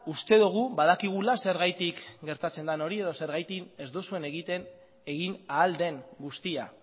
uste dugu badakigula zergatik gertatzen den hori edo zergatik ez duzuen egiten egin ahal den guztia